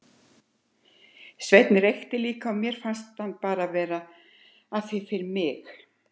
Sveinn reykti líka en mér fannst hann bara vera að því fyrir mig.